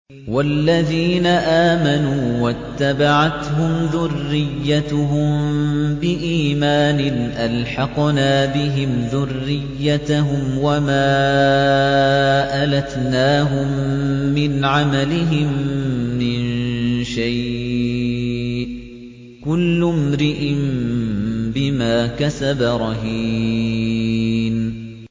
وَالَّذِينَ آمَنُوا وَاتَّبَعَتْهُمْ ذُرِّيَّتُهُم بِإِيمَانٍ أَلْحَقْنَا بِهِمْ ذُرِّيَّتَهُمْ وَمَا أَلَتْنَاهُم مِّنْ عَمَلِهِم مِّن شَيْءٍ ۚ كُلُّ امْرِئٍ بِمَا كَسَبَ رَهِينٌ